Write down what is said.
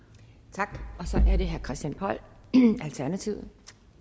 tak og så er det herre christian poll alternativet